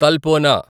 Talpona